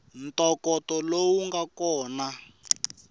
ntokoto lowu nga kona ku